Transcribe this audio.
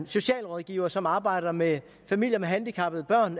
socialrådgivere som arbejder med familier med handicappede børn